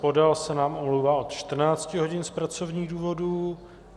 Podal se nám omlouvá od 14 hodin z pracovních důvodů.